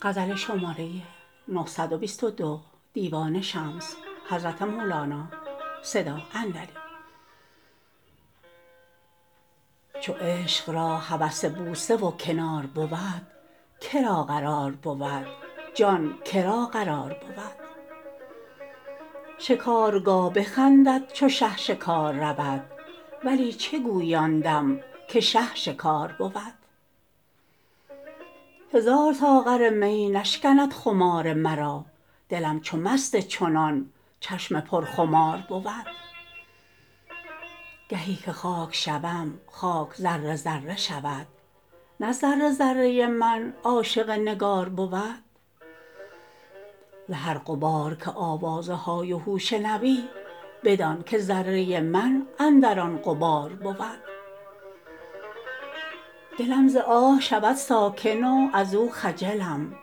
چو عشق را هوس بوسه و کنار بود که را قرار بود جان که را قرار بود شکارگاه بخندد چو شه شکار رود ولی چه گویی آن دم که شه شکار بود هزار ساغر می نشکند خمار مرا دلم چو مست چنان چشم پرخمار بود گهی که خاک شوم خاک ذره ذره شود نه ذره ذره من عاشق نگار بود ز هر غبار که آوازهای و هو شنوی بدانک ذره من اندر آن غبار بود دلم ز آه شود ساکن و ازو خجلم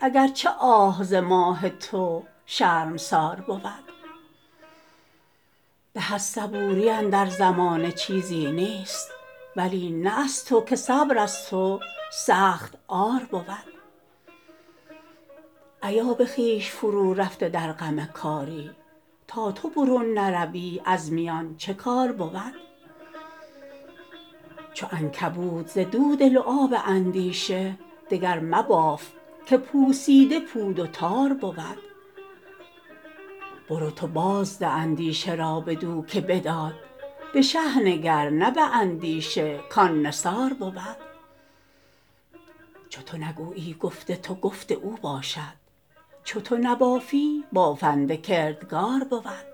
اگر چه آه ز ماه تو شرمسار بود به از صبوری اندر زمانه چیزی نیست ولی نه از تو که صبر از تو سخت عار بود ایا به خویش فرورفته در غم کاری تو تا برون نروی از میان چه کار بود چو عنکبوت زدود لعاب اندیشه دگر مباف که پوسیده پود و تار بود برو تو بازده اندیشه را بدو که بداد به شه نگر نه به اندیشه کان نثار بود چو تو نگویی گفت تو گفت او باشد چو تو نبافی بافنده کردگار بود